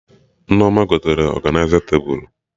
Nneoma gotere ọganịza tebụl